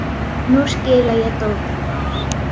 Nú skila ég dótinu hennar